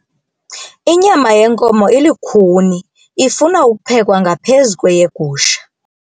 Inyama yenkomo ilukhuni ifuna ukuphekwa ngaphezu kweyegusha.